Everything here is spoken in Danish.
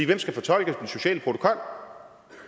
hvem skal fortolke den sociale protokol